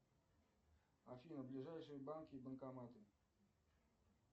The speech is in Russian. афина ближайшие банки и банкоматы